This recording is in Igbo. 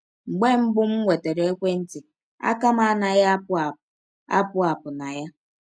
Mgbe mbụ m nwetara ekwe ntị, aka m anaghị apụ apụ apụ apụ na ya.